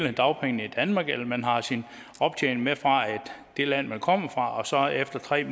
alle dagpengene i danmark eller om man har sin optjening med fra det land man kommer fra og så efter tre